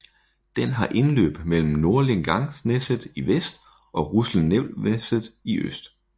Den har indløb mellem Nordlenangsnesset i vest og Russelvnesset i øst